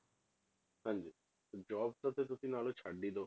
ਹਾਂਜੀ ਤੇ job ਦਾ ਤੇ ਤੁਸੀਂ ਨਾਲੇ ਛੱਡ ਹੀ ਦਓ